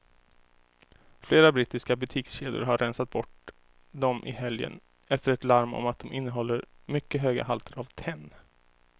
Flera brittiska butikskedjor har rensat bort dem i helgen efter ett larm om att de innehåller mycket höga halter av tenn.